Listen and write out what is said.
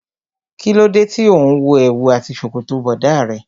Kí ló dé tí òun wo èwù àti ṣòkòtò bọ̀dá rẹ.